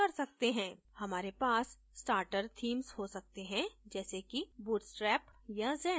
हमारे पास starter themes हो सकते हैं जैसे कि bootstrap या zen